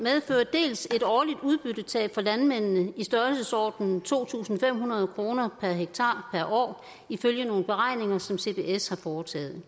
dels et årligt udbyttetab for landmændene i størrelsesordenen to tusind fem hundrede kroner per hektar per år ifølge nogle beregninger som cbs har foretaget